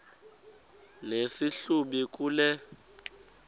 nesi hlubi kule